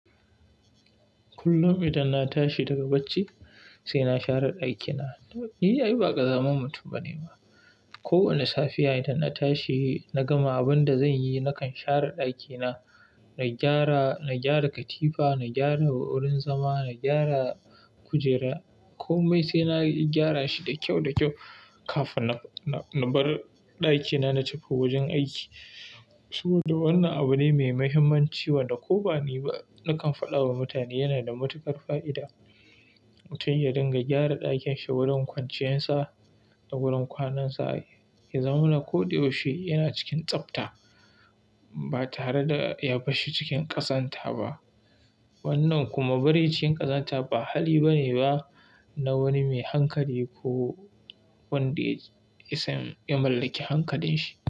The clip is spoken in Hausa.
Kullum idan na tashi daga bacci sai na share ɗakina. Ni, ai ba ƙazamin mutum ba ne ba. Ko wane safiya idan na tashi na gama abin da zan yi, nakan share ɗakina. Na gyara, na gyara katifa, na gyara wurin zama, na gyara kujera. Komai sai na gyara shi da kyau da kyau kafin na, na bar ɗakina na tafi wajen aiki. Saboda wannan abu ne mai mahimmanci wanda ko bani ba nakan faɗa wa mutane yana da matuƙar fa'ida. Mutum ya dinga gyara ɗakin shi wurin kwanciyarsa da wurin kwanansa. Ya zamana koda yaushe yana cikin tsabta ba tare da ya barshi cikin ƙazanta ba. Wannan kuma bari cikin ƙazanta ba hali bane ba na wani mai hankali ko wanda yasan ya mallaki hankalin shi.